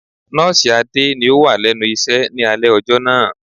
Nọ́ọ̀sì Adé ni ó wà lẹ́nu iṣẹ́ ni alẹ́ ọjọ́ náà.